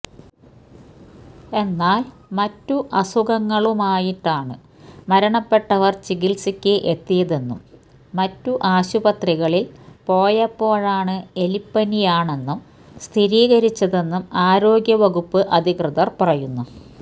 എന്നാല് മറ്റു അസുഖങ്ങളുമായിട്ടാണ് മരണപ്പെട്ടവര് ചികിത്സയ്ക്ക് എത്തിയതെന്നും മറ്റു ആശുപത്രികളില് പോയപ്പോഴാണ് എലിപ്പനിയാണെന്നു സ്ഥിരീകരിച്ചതെന്നും ആരോഗ്യവകുപ്പ് അധികൃതര് പറയുന്നു